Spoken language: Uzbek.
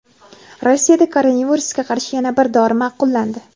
Rossiyada koronavirusga qarshi yana bir dori ma’qullandi.